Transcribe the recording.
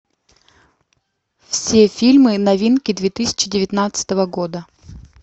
все фильмы новинки две тысячи девятнадцатого года